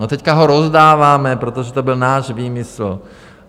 No, teď ho rozdáváme, protože to byl náš výmysl.